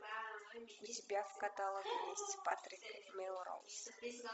у тебя в каталоге есть патрик мелроуз